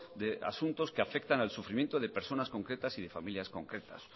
de asuntos que afectan al sufrimiento de personas concretas y de familias concretas